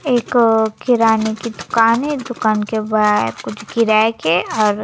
एक किराने की दुकान है दुकान के बाहर कुछ किराए के और--